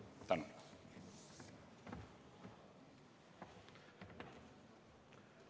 Tänan!